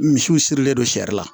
Misiw sirilen don siri la